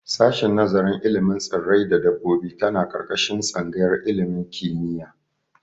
Sashin nazarin ilimin tsirrai da dabbobi tana ƙarƙashin tsangayar ilimin kimiyya.